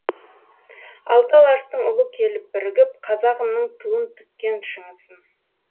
алты алаштың ұлы келіп бірігіп қазағымның туын тіккен шыңысын